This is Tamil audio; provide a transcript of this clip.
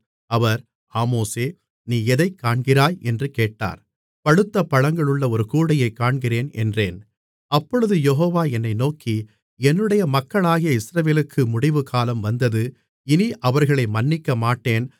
அவர் ஆமோஸே நீ எதைக் காண்கிறாய் என்று கேட்டார் பழுத்த பழங்களுள்ள ஒரு கூடையைக் காண்கிறேன் என்றேன் அப்பொழுது யெகோவா என்னை நோக்கி என்னுடைய மக்களாகிய இஸ்ரவேலுக்கு முடிவுகாலம் வந்தது இனி அவர்களை மன்னிக்கமாட்டேன்